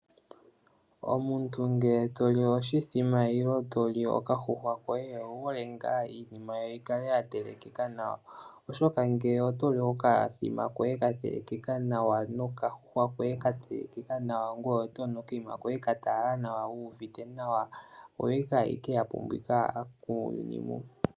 Omuntu ngele toli oshimbombo nenge toli okadjuhwa koye owuhole ngaa iinima yikale yatelekeka nawa. Oshoka ngele otoli oshimbombo shoye shatelekeka nawa nokandjuhwa koye katelekeka nawa ngoye otonu okakunwa koye katalala nawa wuuvite nawa oto ike yapumbiwa muuyuni mu.